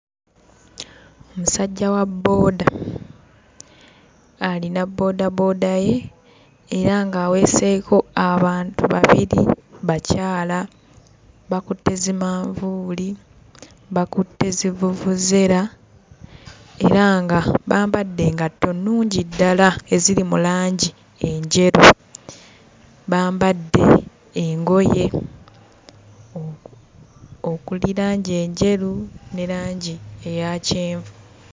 Omusajja wa bbooda alina bboodabooda ye era ng'aweeseeko abantu babiri bakyala, bakutte zimanvuuli, bakutte zivvuvuzera era nga bambadde engatto nnungi ddala eziri mu langi enjeru, bambadde engoye okuli langi enjeru ne langi eya kyenvu.